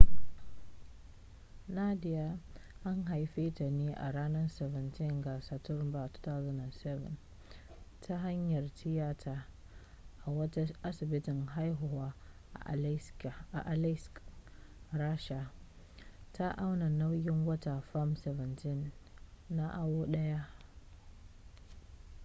nadia an haife ta ne a ranar 17 ga satumbar 2007 ta hanyar tiyata a wata asibitin haihuwa a aleisk rasha ta auna nauyin wata fam 17 na awo daya